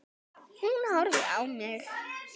Hún horfir á mig.